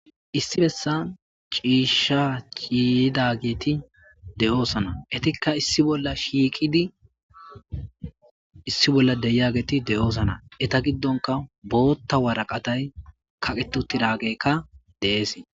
Issi bessan ciisha ciiyidageti de'osona. Eetika issi bolla shiiqidi issi bola de'iyageti de'osona. Eeta giddonka bootha waraqate kaqeti uttiday de'eesi